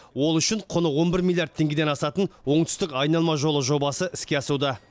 ол үшін құны он бір миллиард теңгеден асатын оңтүстік айналма жолы жобасы іске асуда